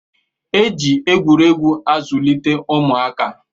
E ji egwuregwu azụlite ụmụaka